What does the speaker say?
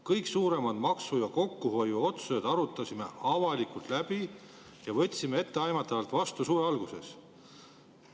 Kõik suuremad maksu- ja kokkuhoiuotsused arutasime avalikult läbi ja võtsime etteaimatavalt vastu suve alguses.